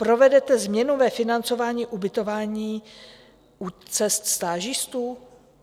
Provedete změnu ve financování ubytování u cest stážistů?